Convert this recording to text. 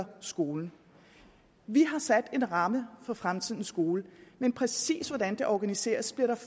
skolen vi har sat en ramme for fremtidens skole men præcis hvordan den organiseres bliver der